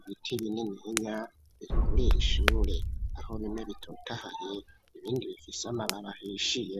ibiti binininya birikurira shure aho bimwe bitotahaye ibindi bifise amababi ahishiye.